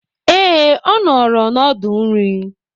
Ee, ọ nọọrọ n'ọdụ nri.